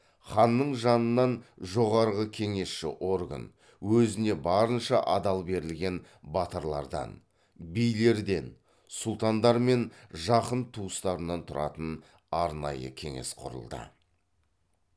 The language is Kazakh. ханның жанынан жоғарғы кеңесші орган өзіне барынша адал берілген батырлардан билерден сұлтандар мен жақын туыстарынан тұратын арнайы кеңес құрылды